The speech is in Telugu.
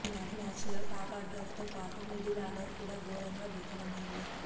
ఈ మ్యాచ్లో టాపార్డర్తో పాటు మిడిల్ ఆర్డర్ కూడా ఘోరంగా విఫలమైంది